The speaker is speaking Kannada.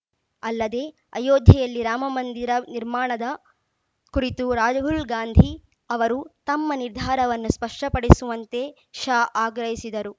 ಅಲ್ಲದೆ ಅಯೋಧ್ಯೆಯಲ್ಲಿ ರಾಮ ಮಂದಿರ ನಿರ್ಮಾಣದ ಕುರಿತು ರಾಹುಲ್‌ ಗಾಂಧಿ ಅವರು ತಮ್ಮ ನಿರ್ಧಾರವನ್ನು ಸ್ಪಷ್ಟಪಡಿಸುವಂತೆ ಶಾ ಆಗ್ರಹಿಸಿದರು